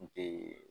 N te